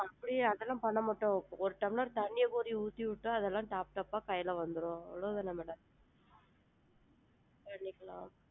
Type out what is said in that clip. அப்படி அதலாம் பண்ண மாட்டோம் ஒரு டம்ளர் தண்ணிய போய் ஊத்திவிட்டா, அதலாம் top top பா கையில வந்திடும் அவ்வளோதான madam .